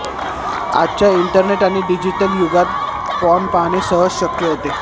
आजच्या इंटरनेट आणि डीजिटल युगात पॉर्न पाहणे सहज शक्य होते